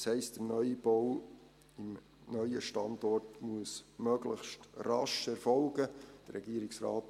Das heisst, dass der Neubau am neuen Standort möglichst rasch erfolgen muss.